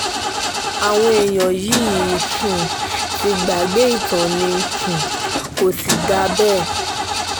àwọn èèyàn yìí um ti gbàgbé ìtàn ni um o kò sì dáa bẹ́ẹ̀